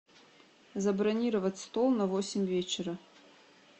забронировать стол на восемь вечера